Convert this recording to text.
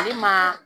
Ale ma